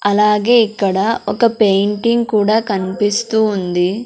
అలాగే ఇక్కడ ఒక పెయింటింగ్ కూడా కనిపిస్తూ ఉంది.